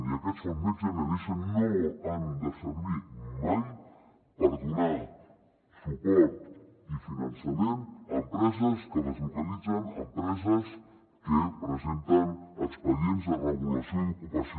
i aquests fons next generation no han de servir mai per donar suport ni finançament a empreses que deslocalitzen a empreses que presenten expedients de regulació d’ocupació